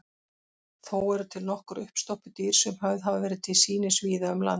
Þó eru til nokkur uppstoppuð dýr sem höfð hafa verið til sýnis víða um land.